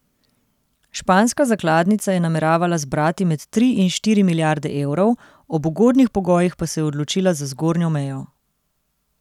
Španska zakladnica je nameravala zbrati med tri in štiri milijarde evrov, ob ugodnih pogojih pa se je odločila za zgornjo mejo.